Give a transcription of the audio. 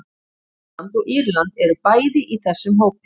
Finnland og Írland eru bæði í þessum hópi.